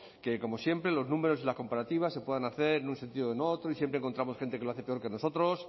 que como siempre los números y las comparativas se puedan hacer en un sentido o en otro y siempre encontramos gente que lo hace peor que nosotros